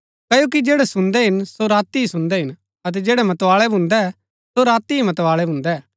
क्ओकि जैड़ै सुन्दै हिन सो राती ही सुन्दै हिन अतै जैड़ै मतवाळै भून्दै सो राती ही मतवाळै भून्दै